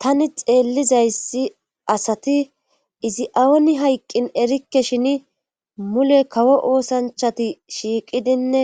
tani xeellizayssi asati izi aoni hayqqin erikke shin mule kawo oosanchati shiiqidinne